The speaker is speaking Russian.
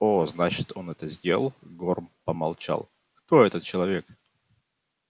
о значит он это сделал горм помолчал кто этот человек